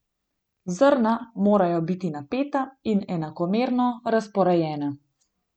Zrna morajo biti napeta in enakomerno razporejena.